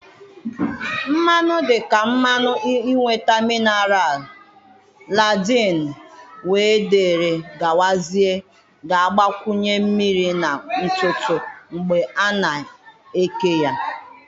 Mmanụ dị ka mmanụ ịnweta mineral, landın we dere gawazie ga-agbakwunye mmiri na ntutu mgbe a na eke ya.